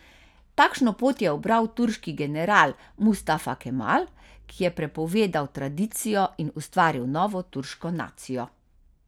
Takšno pot je ubral turški general Mustafa Kemal, ki je prepovedal tradicijo in ustvaril novo turško nacijo.